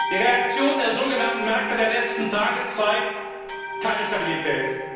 Die Reaktion der sogenannten Märkte in den letzten Tagen zeigt keine Stabilität.